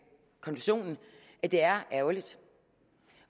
det er ærgerligt